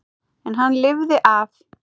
En hann lifði af.